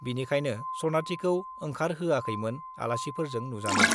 बिनिखायनो सनाथिखौ ओंखारहोआखैमोन, आलासिफोरजों नुजानो।